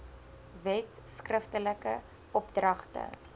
wet skriftelike opdragte